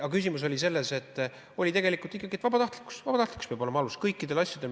Aga küsimus oli selles, et tegelikult jäi ikkagi nii, et vabatahtlikkus peab kõikide asjade alus olema.